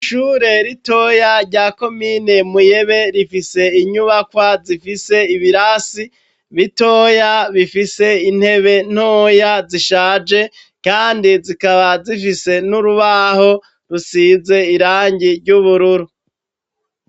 Ishure ritoya rya komine Muyebe, rifise inyubakwa zifise ibirasi b'itoya, bifise intebe ntoya, zishaje kandi zikaba zifise n'urubaho rusize irangi ry'ubururu.